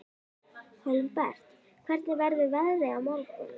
Hólmbert, hvernig verður veðrið á morgun?